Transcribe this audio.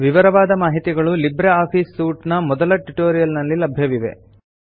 ವಿವರವಾದ ಮಾಹಿತಿಗಳು LibreOffice suite ನ ಮೊದಲ ಟ್ಯುಟೋರಿಯಲ್ ನಲ್ಲಿ ಲಭ್ಯವಿವೆ